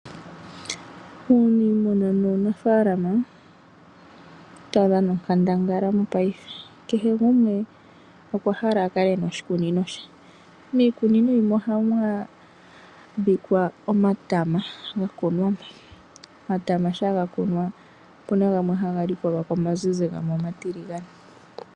Uunimuna muunafalama , otawu dhana onkandangala mopayife kehe ngumwe okwahala akale ena oshikunino she, mikunino yimwe ohamwadhika omatama ngakunwamo, omatama shapa ngakunwa opuna ngamwe hanga likolwako omanzinzi ngamwe oma tilingane.